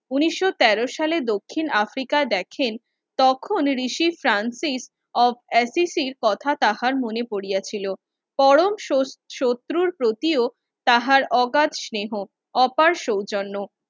ঊনিশো তেরো সালে দক্ষিন আফ্রিকা দেখেন, তখন রিসিফ্রাঞ্চিস কথা তাহার মনে পড়িয়া ছিল। পরম শোত শত্রুর প্রতিও তাহার অগাধ স্নেহ অপার সৌজন্য